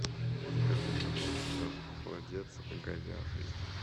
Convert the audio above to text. закажи пожалуйста холодец говяжий